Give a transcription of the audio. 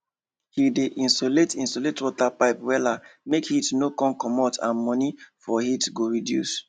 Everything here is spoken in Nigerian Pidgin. he dey insulate insulate water pipe wella make heat no comot and money for heat go reduce